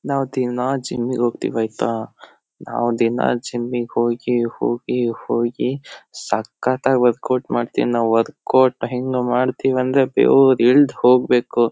ನಾವ್ ದಿನ ಜಿಮ್ ಗೆ ಹೋಗತೀವಿ ಆಯತ ನಾವ್ ದಿನ ಜಿಮ್ ಗ್ ಹೋಗಿ ಹೋಗಿ ಹೋಗಿ ಸಕ್ಕತಾಗ್ ವರ್ಕೌಟ್ ಮಡ್ತಿವ್ ನಾವ್ ವರ್ಕೋಟ್ ಹೆಂಗ್ ಮಾಡ್ತಿವ್ ಅಂದ್ರೆ ಬೆವ್ರ್ ಇಳ್ದ್ ಹೋಗ್ಬೇಕು.